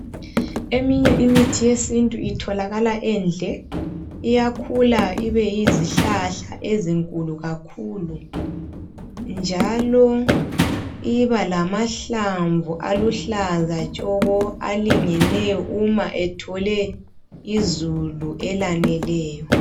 Eminye imithi yesintu itholakala endle. Iyakhula ibe yizihlahla ezinkulu kakhulu. Njalo ibalamahlamvu aluhlaza tshoko alingeneyo uma ethole izulu elaneleyo.